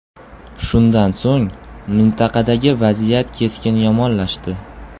Shundan so‘ng mintaqadagi vaziyat keskin yomonlashdi.